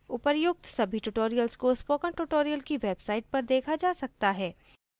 उपर्युक्त सभी tutorials को spoken tutorial की website पर देखा जा सकता है